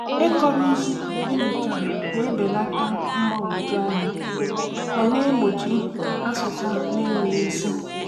Ịkọrọ ozi enyochara na-ebelata mgbagwoju anya ma na-egbochi asụsa na-enweghị isi.